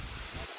Hamısını.